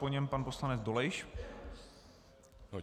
Po něm pan poslanec Dolejš.